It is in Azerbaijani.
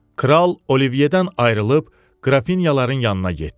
Kral Olivierdən ayrılıb Qrafinyaların yanına getdi.